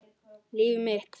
Líf mitt.